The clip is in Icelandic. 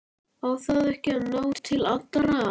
Á það ekki að ná til allra?